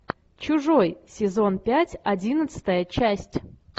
чужой сезон пять одиннадцатая часть